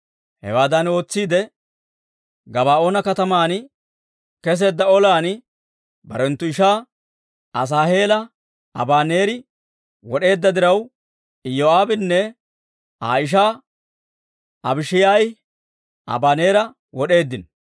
Hewaadan ootsiide, Gabaa'oona kataman keseedda olan barenttu ishaa Asaaheela Abaneeri wod'eedda diraw, Iyoo'aabinne Aa ishaa Abishaayi Abaneera wod'eeddino.